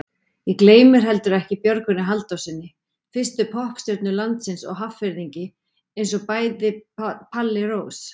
Ég gleymdi heldur ekki Björgvini Halldórssyni, fyrstu poppstjörnu landsins og Hafnfirðingi einsog bæði Palli Rós.